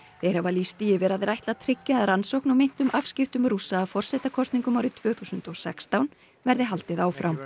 þeir hafa lýst því yfir að þeir ætli að tryggja að rannsókn á meintum afskiptum Rússa af forsetakosningum árið tvö þúsund og sextán verði haldið áfram